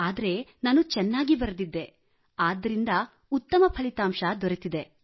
ಆದರೆ ನಾನು ಚೆನ್ನಾಗಿ ಬರೆದಿದ್ದೆ ಆದ್ದರಿಂದ ಉತ್ತಮ ಫಲಿತಾಂಶ ದೊರೆತಿದೆ